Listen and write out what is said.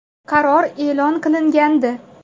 Qaror e’lon qilingandi.